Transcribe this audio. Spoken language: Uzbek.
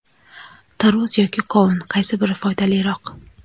Tarvuz yoki qovun, qaysi biri foydaliroq?.